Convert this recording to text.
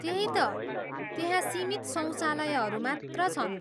त्यही त, त्यहाँ सीमित शौचालयहरू मात्र छन्।